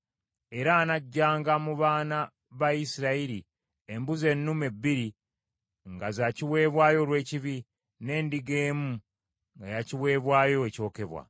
Era anaggyanga mu baana ba Isirayiri embuzi ennume bbiri nga za kiweebwayo olw’ekibi, n’endiga emu nga ya kiweebwayo ekyokebwa.